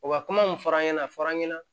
O ka kuma mun f'a ɲɛna a fɔra an ɲɛna